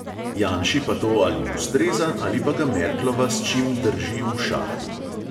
Janši pa to ali ustreza ali pa ga merklova s čim drži v šahu.